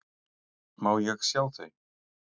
Má ég sjá þau?